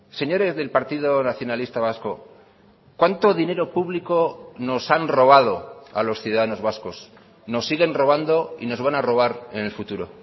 señores del partido nacionalista vasco cuánto dinero público nos han robado a los ciudadanos vascos nos siguen robando y nos van a robar en el futuro